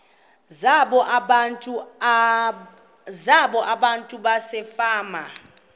zabo abantu basefama